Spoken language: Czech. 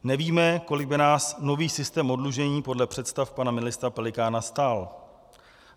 Nevíme, kolik by nás nový systém oddlužení podle představ pana ministra Pelikána stál.